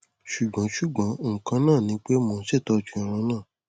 ṣugbọn ṣugbọn nkan naa ni pe mo n ṣetọju irun naa